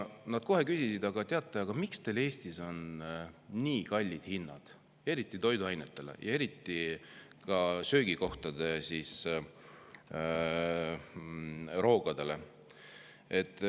Nad kohe küsisid, aga miks teil Eestis on nii kallid hinnad, eriti toiduainetel ja eriti ka söögikohtade roogadel.